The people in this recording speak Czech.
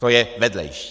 To je vedlejší.